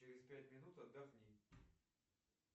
через пять минут отдохни